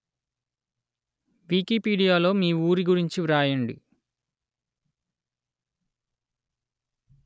వికీపీడియాలో మీ ఊరి గురించి వ్రాయండి